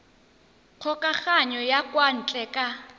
kgokagano ya kwa ntle ka